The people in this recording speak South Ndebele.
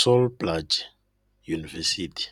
Sol Plaatje University"